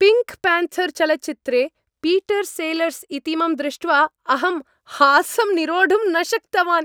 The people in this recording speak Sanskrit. पिङ्क् प्यान्थर् चलच्चित्रे पीटर् सेलर्स् इतीमं दृष्ट्वा अहं हासं निरोढुं न शक्तवान्।